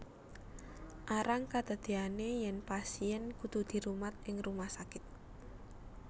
Arang kedadeyane yen pasien kudu dirumat ing rumah sakit